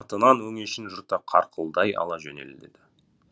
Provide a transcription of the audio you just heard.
өңешін жырта қарқылдай ала жөнеледі